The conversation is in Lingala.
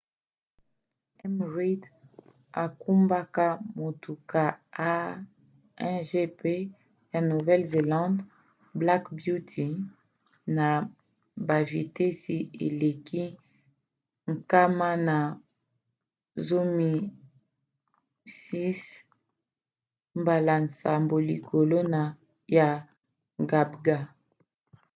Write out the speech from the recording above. m. reid akumbaka motuka a1gp ya nouvelle-zélande black beauty na bavitesi eleki 160 km/h mbala nsambo likolo ya gbagba